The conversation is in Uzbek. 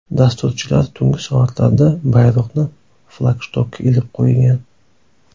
Dasturchilar tungi soatlarda bayroqni flagshtokka ilib qo‘ygan.